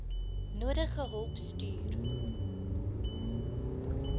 nodige hulp stuur